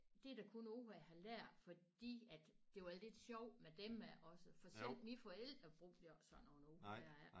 Det er da kun ord jeg har lært fordi at det var lidt sjovt med dem også for selv mine forældre brugte ikke sådan nogle ord